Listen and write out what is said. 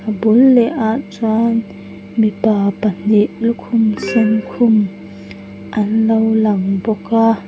a bul leh ah chuan mipa pahnih lukhum sen khum anlo lang bawk a --